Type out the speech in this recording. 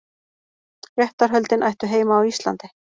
Réttarhöldin ættu heima á Íslandi